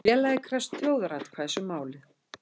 Félagið krefst þjóðaratkvæðis um málið